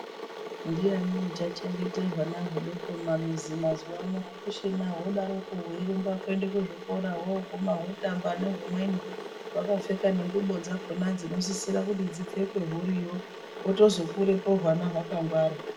Ndiyani uchachengete hwana hudoko mumamizi mavo hakuchi vodaroko veirumba kwende kuzvikora veiguma votamba nehumweni. Vakapfeka nengubo dzakona dzinosisire kuti dzipfekwe huriyo hotozo kurapo hwana hwakangwara.